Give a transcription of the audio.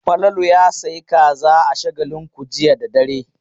Falalu ya sayi kaza a Shagalinku jiya da dare.